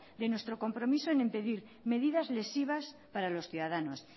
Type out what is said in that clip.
de nuestro compromiso en impedir medidas lesivas para los ciudadanos